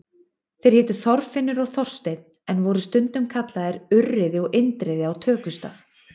Þeir hétu Þorfinnur og Þorsteinn en voru stundum kallaðir Urriði og Indriði á tökustað.